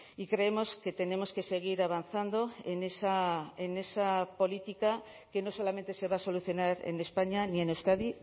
y creemos que tenemos que seguir avanzando en esa política que no solamente se va a solucionar en españa ni en euskadi